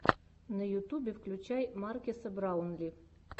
на ютубе включай маркеса браунли